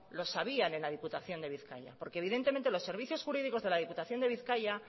lo sabían en la diputación de bizkaia porque evidentemente los servicios jurídicos de la diputación de bizkaia